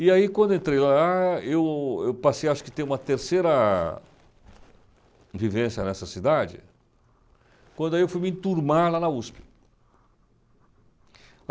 E aí, quando entrei lá, eu eu passei, acho que ter uma terceira vivência nessa cidade, quando aí eu fui me enturmar lá na USP.